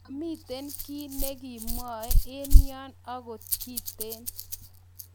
mamiten kii negeemwae en yon ogot kiten